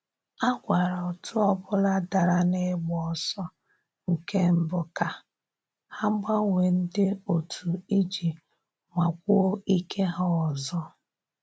A gwara otu ọbụla dara na ịgba ọsọ nke mbụ ka ha gbanwee ndị otu iji nwakwuo ike ha ọzọ